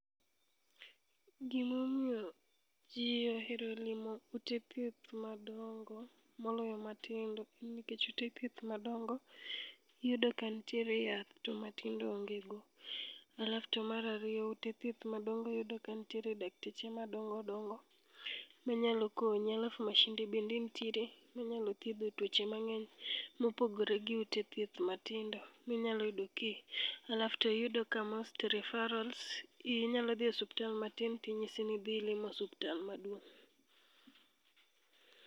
Gimomiyo ji ohero limo ute thieth madongo moloyo matindo en nikech ute thieth madongo iyudo ka nitiere yath to matindo to onge go, alafto mar ariyo ute thieth madongo iyudo ka nitiere dakteche madongo dongo manyalo konyi alafu mashinde bende ntiere manyalo thiedho tuoche mang'eny mopogore gi ute thieth matindo minyalo yudo ki, alafto yudo ka most referrals, inyalo dhi e osiptal matin tinyisi ni idhi limo osiptal maduong'.